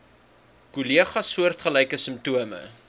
kollegas soortgelyke simptome